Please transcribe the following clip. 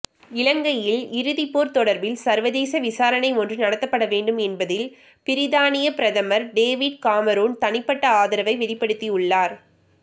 இலங்கையின் இறுதிப்போர் தொடர்பில் சர்வதேச விசாரணை ஒன்று நடத்தப்படவேண்டும் என்பதில் பிரித்தானிய பிரதமர் டேவிட் கமரூன் தனிப்பட்ட ஆதரவை வெளிப்படுத்தியுள்ளார்